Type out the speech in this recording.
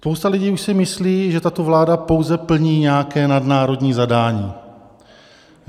Spousta lidí už si myslí, že tato vláda pouze plní nějaké nadnárodní zadání.